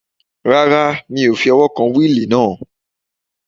Rárá, mi ò fi ọwọ́ kan wíìlì náà